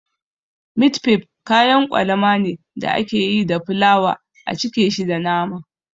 Mit fif kayan kwalama ne da ake yi da fulawa a cike shi da nama